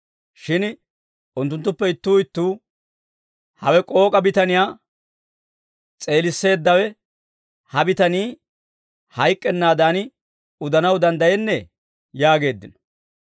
Shin unttunttuppe ittuu ittuu, «Hawe k'ook'a bitaniyaa s'eelisseeddawe ha bitanii hayk'k'ennaadan udanaw danddayennee?» yaageeddino.